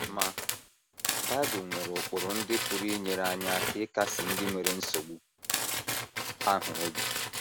Ma, Bible nwere ụkpụrụ ndị pụrụ inyere anyị aka ịkasi ndị nwere nsogbu ahụ obi.